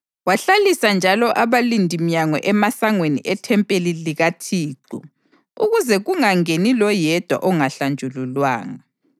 Wahlalisa njalo abalindiminyango emasangweni ethempeli likaThixo ukuze kungangeni loyedwa ongahlanjululwanga.